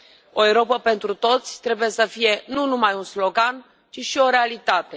O Europă pentru toți trebuie să fie nu numai un slogan, ci și o realitate.